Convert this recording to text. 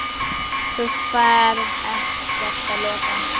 Þú ferð ekkert að loka!